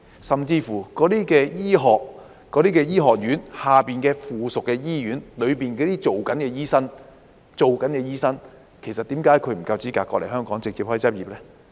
甚至在那些醫學院轄下的附屬醫院裏工作的醫生，為何他不夠資格來港直接執業呢？